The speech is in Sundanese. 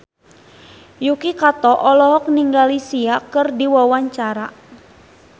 Yuki Kato olohok ningali Sia keur diwawancara